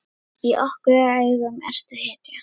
Í okkar augum ertu hetja.